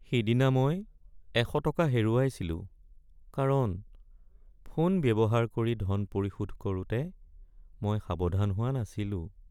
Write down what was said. সিদিনা মই ১০০ টকা হেৰুৱাইছিলোঁ কাৰণ ফোন ব্যৱহাৰ কৰি ধন পৰিশোধ কৰোঁতে মই সাৱধান হোৱা নাছিলোঁ।